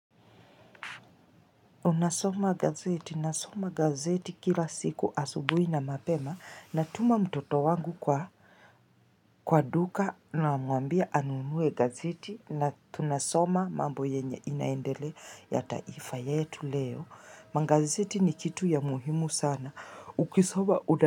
Unasoma gazeti, nasoma gazeti kila siku asubuhi na mapema na tuma mtoto wangu kwa Kwa duka na mwambia anunue gazeti na tunasoma mambo yenye inaendelea ya taifa yetu leo Magazeti ni kitu ya muhimu sana Ukisoma una.